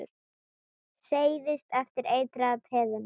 Seilist eftir eitraða peðinu.